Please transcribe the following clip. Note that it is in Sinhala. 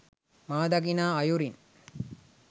මා දකිනා අයුරින්